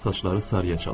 Saçları sarıya çalır.